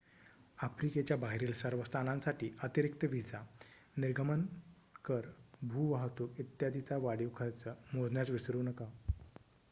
आफ्रिकेच्या बाहेरील सर्व स्थानांसाठी अतिरिक्त व्हिसा निर्गमन कर भू वाहतूक इत्यादीचा वाढीव खर्च मोजण्यास विसरू नका